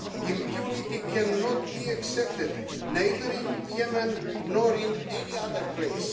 Impunity cannot be accepted, neither in Yemen nor in any other place.